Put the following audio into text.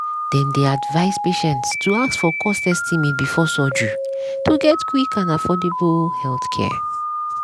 dem dey advise patients to ask for cost estimate before surgery to get quick and affordable healthcare.